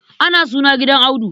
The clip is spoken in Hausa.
Ana suna gidan Audu.